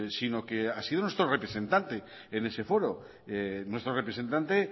sino que ha sido nuestro representante en ese foro nuestro representante